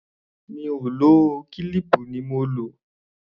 Mi ò lò ó, kílíìpù ni mo lò.